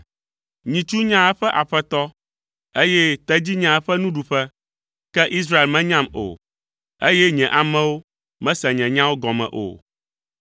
Nyitsu nyaa eƒe aƒetɔ, eye tedzi nyaa eƒe nuɖuƒe, ke Israel menyam o, eye nye amewo mese nye nyawo gɔme o.”